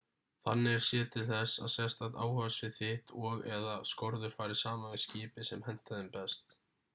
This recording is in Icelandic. þannig er séð til þess að sérstakt áhugasvið þitt og/eða skorður fari saman við skipið sem hentar þeim best